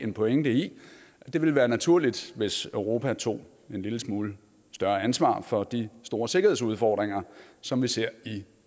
en pointe i at det ville være naturligt hvis europa tog en lille smule større ansvar for de store sikkerhedsudfordringer som vi ser i